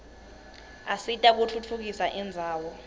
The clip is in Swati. asita kutfutfukisa indzawo